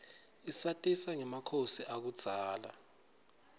isatisa ngemakhosi akudzala